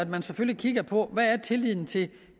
man selvfølgelig kigge på hvad tilliden til